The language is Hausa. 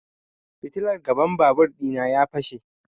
Fitilar gaban babur ɗina ya fashe